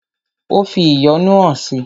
Ó fi ìyọ́nú hàn si.